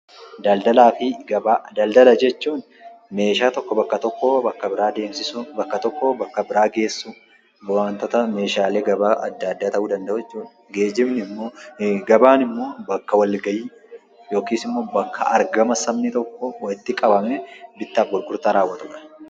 Daldala jechuun meeshaa tokko bakka tokkoo bakka biraa deemsisuu; bakka tokkoo bakka biraa geessisuu wantoota meeshaalee gabaa adda addaa ta'uu danda'uu jechuudha. Gabaan ammoo bakka walga'ii yookaas ammoo bakka argama sabni tokko walitti qabamee bittaaf gurgurtaa raawwatamudha.